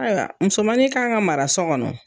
Ayiwa musomanin kan ka mara so kɔnɔ